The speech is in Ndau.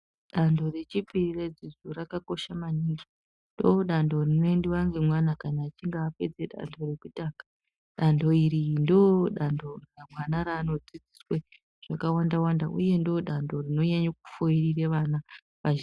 Dando rechipiri redzidzo rakakosha maningi. Ndoodando rinoendiwa ngemwana kana achinge apedze dando rekutanga. Dando iri ndoodando mwana raanodzidziswe zvakawanda-wanda uye ndoodando rinonyanya kufoirire vana kazhi...